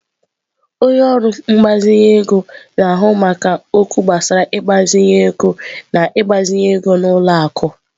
Onye ọrụ mgbazinye ego na-ahụ maka okwu gbasara ịgbazinye ego na ịgbazinye ego n'ụlọ akụ.